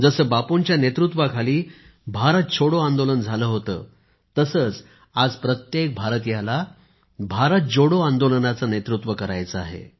जसे बापूंच्या नेतृत्वाखाली भारत छोडो आंदोलन झाले होते तसेच आज प्रत्येक भारतीयाला भारत जोडो आंदोलनाचे नेतृत्व करायचे आहे